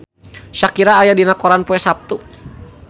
Shakira aya dina koran poe Saptu